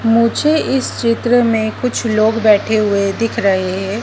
मुझे इस चित्र में कुछ लोग बैठे हुए दिख रहे हैं।